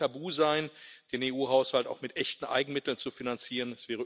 Es darf kein Tabu sein, den EU Haushalt auch mit echten Eigenmitteln zu finanzieren.